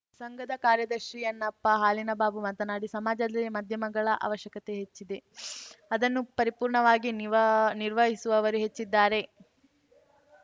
ಸಂಘದ ಕಾರ್ಯದರ್ಶಿ ಯನ್ನಪ್ಪಹಾಲಿನಬಾಬು ಮಾತನಾಡಿ ಸಮಾಜದಲ್ಲಿ ಮಾಧ್ಯಮಗಳ ಅವಶ್ಯಕತೆ ಹೆಚ್ಚಿದೆ ಅದನ್ನು ಪರಿಪೂರ್ಣವಾಗಿ ನಿವ ನಿರ್ವಹಿಸುವವರೂ ಹೆಚ್ಚಿದ್ದಾರೆ